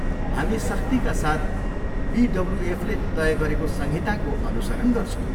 हामी सख्तीका साथ बिडब्ल्युएफले तय गरेको संहिताको अनुसरण गर्छौँ।